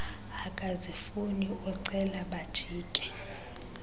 akazifuni ucela bajike